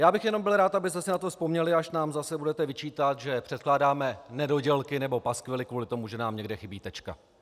Já bych jenom byl rád, abyste si na to vzpomněli, až nám zase budete vyčítat, že předkládáme nedodělky nebo paskvily kvůli tomu, že nám někde chybí tečka!